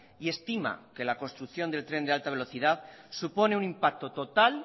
y estima que la construcción del tren de alta velocidad supone un impacto total